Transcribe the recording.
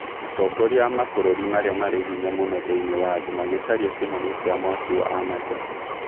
Atongoria a mabũrũri marĩa marĩ hinya mũno thĩinĩ wa thĩ magĩcaria kĩhonia kĩa mwaki wa Amazon